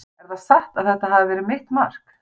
Er það satt að þetta hafi verið mitt mark?